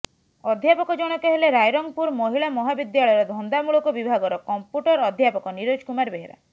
ଅଧ୍ୟାପକ ଜଣକ ହେଲେ ରାଇରଙ୍ଗପୁର ମହିଳା ମହାବିଦ୍ୟାଳୟର ଧନ୍ଦାମୂଳକ ବିଭାଗର କମ୍ପ୍ୟୁଟର ଅଧ୍ୟାପକ ନିରୋଜ କୁମାର ବେହେରା